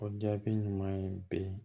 O jaabi ɲuman ye bi